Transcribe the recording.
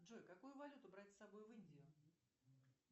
джой какую валюту брать с собой в индию